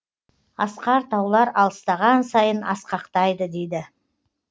асқар таулар алыстаған сайын асқақтайды дейді